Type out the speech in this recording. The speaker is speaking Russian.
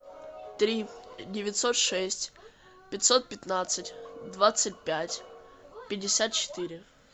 три девятьсот шесть пятьсот пятнадцать двадцать пять пятьдесят четыре